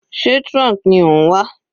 Sé trunk ni ó ń wà?